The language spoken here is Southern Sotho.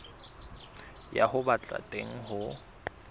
ya ho ba teng ho